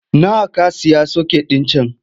Nawa ka sayi soket ɗin can?